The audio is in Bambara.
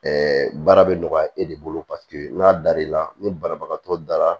baara bɛ nɔgɔya e de bolo paseke n'a dar'i la ni banabagatɔ dara